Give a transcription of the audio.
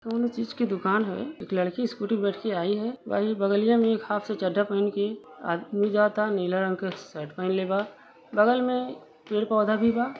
कौनो चीज के दुकान हवे। एक लड़की स्कूटी पे बैठ के आई है। वही बगलिया में एक हाफ सा चड्डा पहिन के आदमी जाता। नीला रंग के शर्ट पहिनले बा। बगल में पेड़ पौधा भी बा।